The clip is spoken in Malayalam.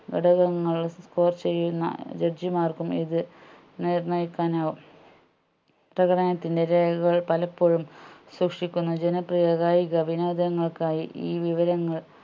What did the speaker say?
ഘടകങ്ങൾ score ചെയ്യുന്ന judge മാർക്കും ഇത് നിർണ്ണയിക്കാനാവും പ്രകടനത്തിന്റെ രേഖകൾ പലപ്പോഴുംസൂക്ഷിക്കുന്ന ജനപ്രിയ കായിക വിനോദങ്ങൾക്കായി ഈ വിവരങ്ങൾ